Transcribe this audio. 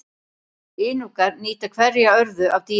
Inúkar nýta hverja örðu af dýrinu.